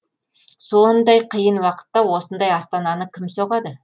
сондай қиын уақытта осындай астананы кім соғады